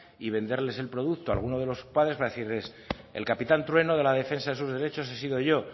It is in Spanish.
y venderles el producto a alguno de los padres para decirles el capitán trueno de la defensa de sus derechos he sido yo